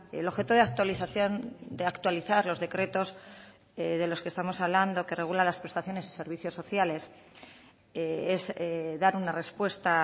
el objeto de actualización de actualizar los decretos de los que estamos hablando que regula las prestaciones y servicios sociales es dar una respuesta